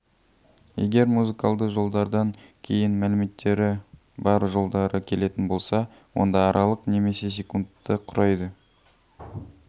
егер музыкалды жолдардан кейін мәліметтері бар жолдары келетін болса онда аралық немесе секундтты құрайды